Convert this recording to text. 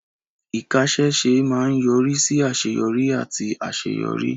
Ìkáṣẹ́ṣe máa ń yọrí sí àṣeyọrí àti àṣeyọrí.